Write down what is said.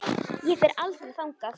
Ég fer aldrei þangað.